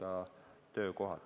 Aitäh!